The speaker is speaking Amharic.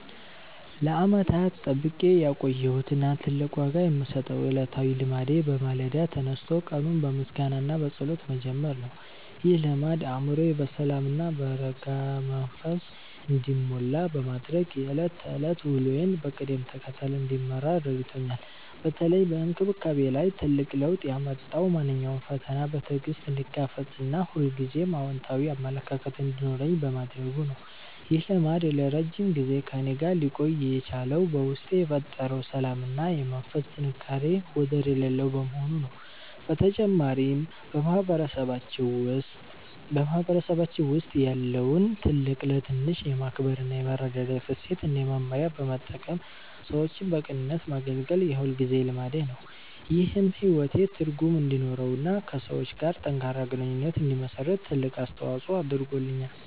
ለዓመታት ጠብቄ ያቆየሁት እና ትልቅ ዋጋ የምሰጠው ዕለታዊ ልማዴ በማለዳ ተነስቶ ቀኑን በምስጋና እና በጸሎት መጀመር ነው። ይህ ልማድ አእምሮዬ በሰላም እና በረጋ መንፈስ እንዲሞላ በማድረግ የዕለት ተዕለት ውሎዬን በቅደም ተከተል እንድመራ ረድቶኛል። በተለይ በአስተሳሰቤ ላይ ትልቅ ለውጥ ያመጣው ማንኛውንም ፈተና በትዕግስት እንድጋፈጥ እና ሁልጊዜም አዎንታዊ አመለካከት እንዲኖረኝ በማድረጉ ነው። ይህ ልማድ ለረጅም ጊዜ ከእኔ ጋር ሊቆይ የቻለው በውስጤ የፈጠረው ሰላም እና የመንፈስ ጥንካሬ ወደር የሌለው በመሆኑ ነው። በተጨማሪም፣ በማህበረሰባችን ውስጥ ያለውን ትልቅ ለትንሽ የማክበር እና የመረዳዳት እሴት እንደ መመሪያ በመጠቀም ሰዎችን በቅንነት ማገልገል የሁልጊዜ ልማዴ ነው። ይህም ሕይወቴ ትርጉም እንዲኖረውና ከሰዎች ጋር ጠንካራ ግንኙነት እንድመሰርት ትልቅ አስተዋጽኦ አድርጓል።